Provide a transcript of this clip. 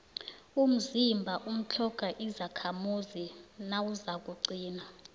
umzimba utlhoga izakhamzimba nawuzakuqina